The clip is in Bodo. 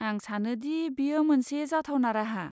आं सानो दि बेयो मोनसे जाथावना राहा।